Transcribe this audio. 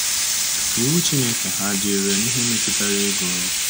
Iwu Chineke ha dị irè n’ihe metụtara ego?